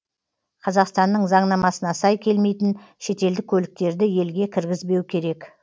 қазақстанның заңнамасына сай келмейтін шетелдік көліктерді елге кіргізбеу керек